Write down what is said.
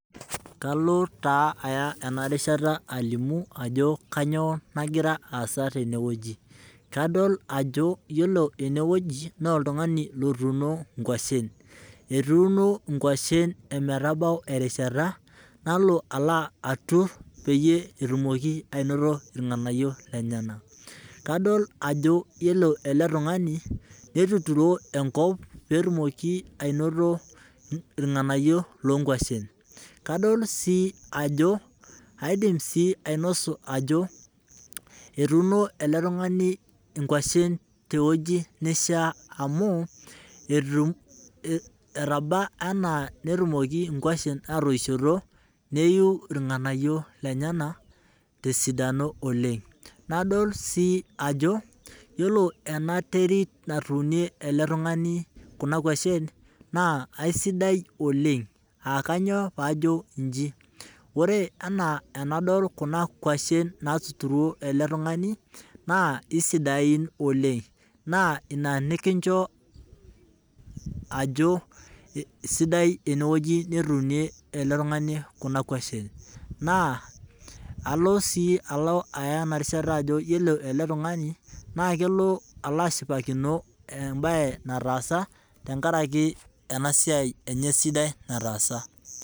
Kalo taa aya ena rishata alimu ajo kainyioo nagira aasa tene wueji , kaol ajo yiolo ene wueji naa oltungani otuuno inkwashen. Etuuno inkwashen ometabau erishata nala atur peyie etumoki anoto irnganayio lenyenak . Kadol ajo ore ele tungani netuturo enkop pee etumoki anoto irnganayio loonkwashen. Kadol sii ajo, aidim sii ainosu ajo etuuno ele tungani inkwashen tewueji neishiaa amu etu, etaba anaa netum inkwashen atoishoto, neiu irnganayio lenyenak . Ndol sii ajo ore ena terit natuunie ele tungani kuna kwashen naa aisidai oleng , aa kainyioo pajo inji, ore ena enadol kuna kwashen natuturuo ele tungani naa kisidain oleng naa ina nikincho ajo sidai ene wueji netuunie ele tungani kuna kwashen. Naa alo sii aya ena rishata ajo yiolo ele tungani naa kelo ashipakino embae nataasa tenkaraki ena siai enye sidai nataasa.